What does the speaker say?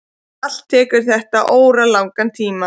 Allt tekur þetta óralangan tíma.